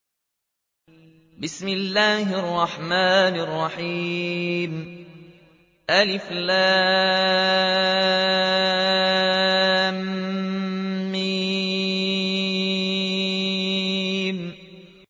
الم